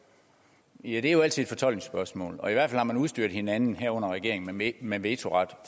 jeg det er jo altid et fortolkningsspørgsmål og i hvert fald har man udstyret hinanden herunder regeringen med vetoret